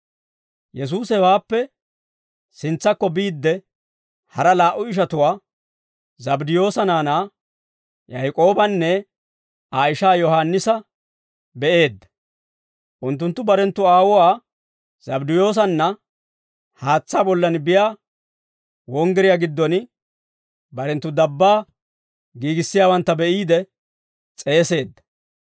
Yesuusi hewaappe sintsakko biidde, hara laa"u ishatuwaa, Zabddiyoosa naanaa Yaak'oobanne Aa ishaa Yohaannisa be'eedda; unttunttu barenttu aawuwaa Zabddiyoosanna haatsaa bollan biyaa wonggiriyaa giddon barenttu dabbaa giigissiyaawantta be'iide, s'eeseedda.